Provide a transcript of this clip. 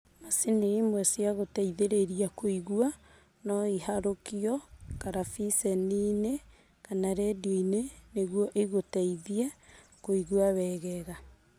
Macini imwe cia gũteithĩrĩria kũigua, no iharũkio karabiceni-inĩ kana redio-inĩ nĩguo igũteithie kũigua wegega